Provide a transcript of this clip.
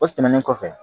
O tɛmɛnen kɔfɛ